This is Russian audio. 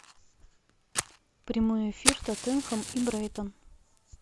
прямой эфир тоттенхэм и брайтон